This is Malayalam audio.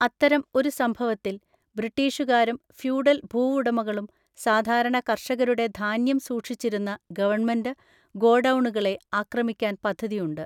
അത്തരം ഒരു സംഭവത്തിൽ, ബ്രിട്ടീഷുകാരും ഫ്യൂഡൽ ഭൂവുടമകളും സാധാരണ കർഷകരുടെ ധാന്യം സൂക്ഷിച്ചിരുന്ന ഗവൺമെന്റ് ഗോഡൗണുകളെ ആക്രമിക്കാൻ പദ്ധതിയുണ്ട്.